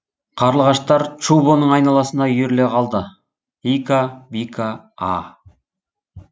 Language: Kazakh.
қарлығаштар чубоның айналасына үйіріле қалды ика бика а